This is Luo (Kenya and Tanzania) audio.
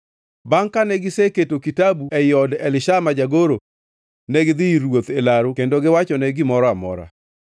Bangʼ kane giseketo kitabu ei od Elishama jagoro, negidhi ir ruoth e laru kendo giwachone gimoro amora.